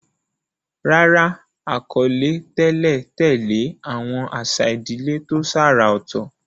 Rárá, àkọlé tẹ́lẹ̀ tẹ̀lé àwọn àṣà ìdílé tó ṣàrà ọ̀tọ̀.